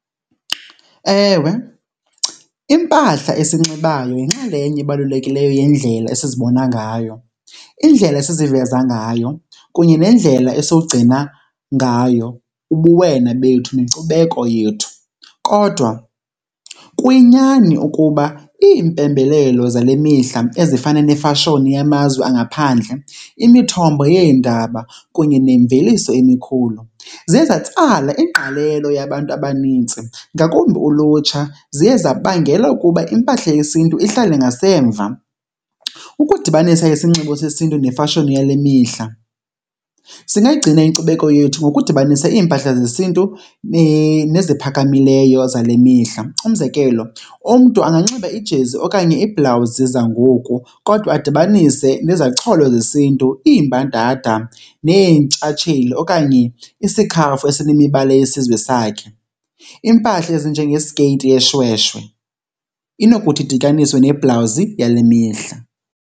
Ewe, impahla esiyinxibayo yinxalenye ebalulekileyo yendlela esizibona ngayo, indlela esiziveza ngayo kunye nendlela esiwugcina ngayo ubuwena bethu nenkcubeko yethu. Kodwa kuyinyani ukuba iimpembelelo zale mihla ezifana nefashoni yamazwe angaphandle, imithombo yeendaba kunye nemveliso emikhulu, ziye zatsala ingqalelo yabantu abanintsi, ngakumbi ulutsha, ziye zabangela ukuba impahla yesiNtu ihlale ngasemva. Ukudibanisa isinxibo sesintu nefashoni yale mihla, singayigcina inkcubeko yethu ngokudibanisa iimpahla zesiNtu neziphakamileyo zale mihla. Umzekelo, umntu anganxiba ijezi okanye iibhlawuzi zangoku kodwa adibanise nezacholo zesiNtu, iimbadada neentshatshelo okanye isikhafu esinemibala yesizwe sakhe. Iimpahla ezinjengesikeyiti yeshweshwe inokuthi idityaniswe nebhlawuzi yale mihla.